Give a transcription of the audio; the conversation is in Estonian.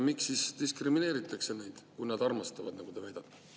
Miks neid diskrimineeritakse, kui nad armastavad, nagu te väidate?